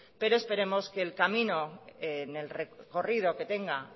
pero esperamos que el camino en el recorrido que tenga